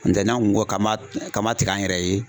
N'o tɛ n'an ko k'a ma kaba tig'an yɛrɛ ye.